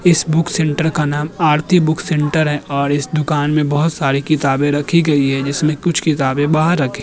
इस book centre का नाम आरती बुक सेंटर है और इस दुकान में बोहोत सारी किताबें रखी गई है जिसमे कुछ किताबे बाहर रखी --